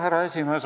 Härra esimees!